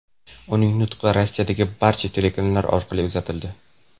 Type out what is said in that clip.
Uning nutqi Rossiyadagi barcha telekanallar orqali uzatildi.